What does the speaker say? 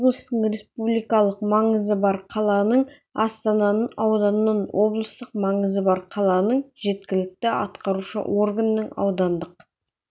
облыстың республикалық маңызы бар қаланың астананың ауданның облыстық маңызы бар қаланың жергілікті атқарушы органының аудандық